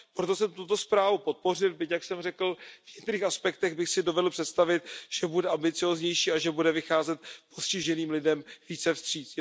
Proto jsem tuto zprávu podpořil, byť jak jsem řekl v některých aspektech bych si dovedl představit, že bude ambicióznější a že bude vycházet postiženým lidem více vstříc.